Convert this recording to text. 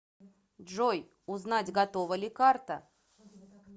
джой узнать готова ли карта